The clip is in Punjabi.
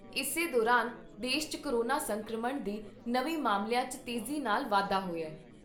ਇਸੇ ਦੌਰਾਨ ਦੇਸ਼ 'ਚ ਕੋਰੋਨਾ ਸੰਕਰਮਣ ਦੇ ਨਵੇਂ ਮਾਮਲਿਆਂ 'ਚ ਤੇਜ਼ੀ ਨਾਲ ਵਾਧਾ ਹੋਇਆ।